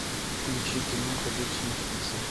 включи кино ходячие мертвецы